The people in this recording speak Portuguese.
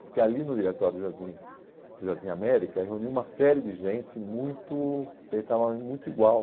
Porque ali no Diretório do Jardim do Jardim América reuniu uma série de gente muito, que pensava muito igual.